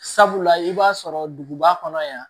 Sabula i b'a sɔrɔ duguba kɔnɔ yan